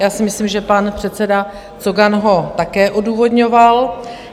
Já si myslím, že pan předseda Cogan ho také odůvodňoval.